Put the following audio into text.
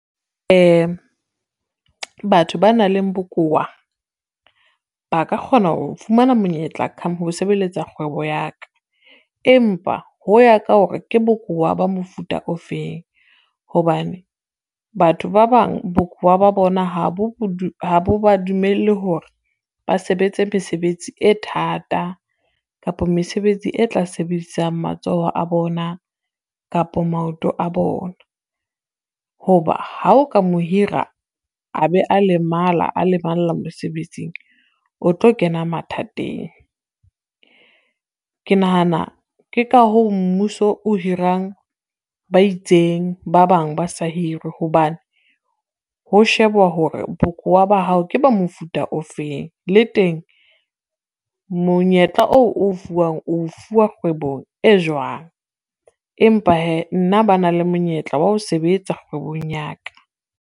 Batho ba nang le bokowa ba ka kgona ho fumana monyetla ho sebeletsa kgwebo ya ka, empa ho ya ka hore ke bokowa ba mofuta ofeng hobane batho ba bang bokowa ba ba bona ha bo ba dumelle hore ba sebetse mesebetsi e thata kapa mesebetsi e tla sebedisang matsoho a bona kapo maoto a bona. Ho ba ha o ka mo hira, a be a lemala a lemalla mosebetsing o tlo kena mathateng. Ke nahana ke ka hoo mmuso o hirang ba itseng ba bang ba se hirwe hobane ho shebuwa hore, bokowa ba hao ke ba mofuta ofeng, le teng monyetla oo o fuwang o fuwa kgwebong e jwang. Empa hee nna ba na le monyetla wa ho sebetsa kgwebong ya ka.